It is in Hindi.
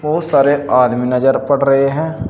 बहुत सारे आदमी नजर पड़ रहे हैं।